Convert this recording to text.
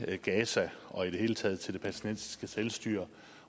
til gaza og i det hele taget til det palæstinensiske selvstyre